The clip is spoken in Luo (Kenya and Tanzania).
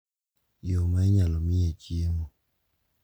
Yo ma inyalo miye chiemo.